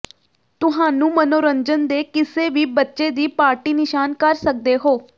ਤੁਹਾਨੂੰ ਮਨੋਰੰਜਨ ਦੇ ਕਿਸੇ ਵੀ ਬੱਚੇ ਦੀ ਪਾਰਟੀ ਿਨਸ਼ਾਨ ਕਰ ਸਕਦੇ ਹੋ